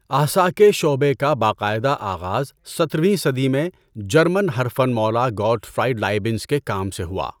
احصا کے شعبہ کا باقاعدہ آغاز سترھویں صدی میں جرمن ہر فن مولا گوٹفراِئیڈ لائیبنز کے کام سے ہوا۔